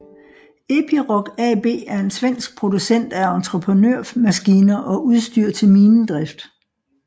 Epiroc AB er en svensk producent af entreprenørmaskiner og udstyr til minedrift